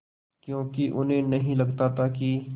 क्योंकि उन्हें नहीं लगता था कि